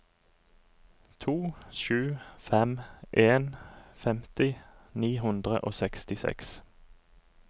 to sju fem en femti ni hundre og sekstiseks